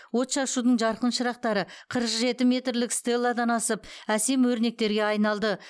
отшашудың жарқын шырақтары қырық жеті метрлік стелладан асып әсем өрнектерге айналды